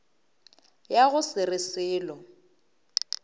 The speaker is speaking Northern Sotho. ya go se re selo